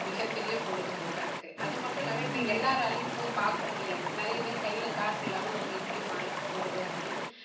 மிகப்பெரிய பொழுதுபோக்கா இருக்கு. அதுமட்டுமில்லாம இப்போ எல்லாராலேயும் போய் பார்க்க முடியாது. நிறைய பேர் கையில காசு இல்லாம நாங்க எப்படி mall லுக்கு போறது அப்படின்னு